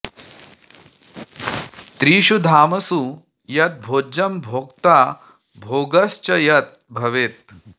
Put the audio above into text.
त्रिषु धामसु यत् भोज्यं भोक्ता भोगश्च यत् भवेत्